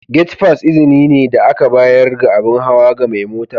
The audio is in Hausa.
Gate fass izini ne da aka bayar ga abin hawa ga mai mota.